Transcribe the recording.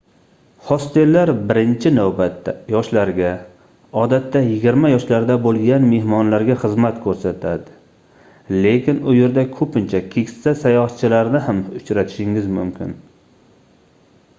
hostellar birinchi navbatda yoshlarga odatda yigirma yoshlarda boʻlgan mehmonlarga xizmat koʻrsatadi lekin u yerda koʻpincha keksa sayohatchilarni ham uchratishingiz mumkin